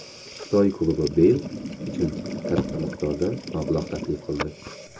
Xitoy klubi Beyl uchun katta miqdorda mablag‘ taklif qildi.